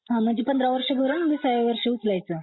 हं म्हणजे पंधरा वर्ष भरून विसाव्या वर्षी उचलायचं